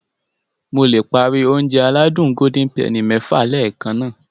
Mo le páári Ounjẹ aládùn Golden penny lẹ́ẹ̀kan